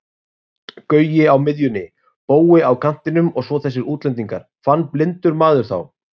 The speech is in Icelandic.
Gaui á miðjunni, Bói á kantinum og svo þessir útlendingar, fann blindur maður þá?